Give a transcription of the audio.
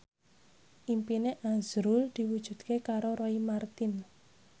impine azrul diwujudke karo Roy Marten